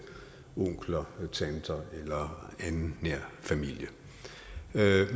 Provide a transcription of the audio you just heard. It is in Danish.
onkler tanter eller anden nær familie